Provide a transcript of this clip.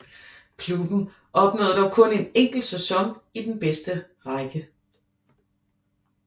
Klubben opnåede dog kun en enkelt sæson i den bedste række